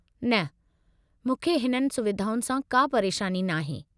न, मूंखे हिननि सुविधाउनि सां का परेशानी नाहे।